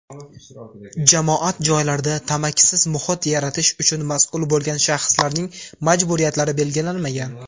jamoat joylarida tamakisiz muhit yaratish uchun mas’ul bo‘lgan shaxslarning majburiyatlari belgilanmagan.